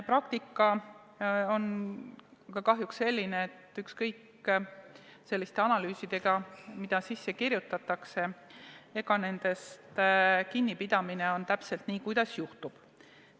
Praktika on aga kahjuks selline, et ükskõik mis analüüsid seadusse sisse kirjutatakse, nendest kinnipidamine on nii, kuidas juhtub.